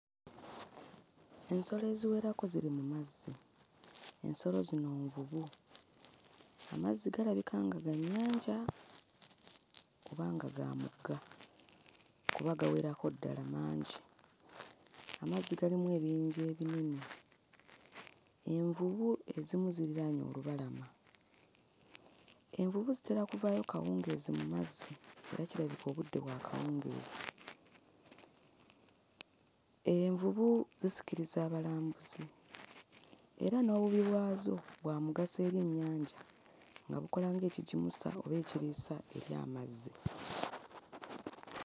Ensolo eziwerako ziri mu mazzi ensolo zino nvubu amazzi galabika nga ga nnyanja oba nga ga mugga kuba gawerako ddala mangi amazzi galimu ebiyinja ebinene envubu ezimu ziriraanye olubalama envubu zitera kuvaayo kawungeezi mu mazzi era kirabika obudde bwa kawungeezi envubu zisikiriza abalambuzi era n'obubi bwazo bwa mugaso eri ennyanja nga bukola ng'ekigimusa oba ekiriisa eri amazzi.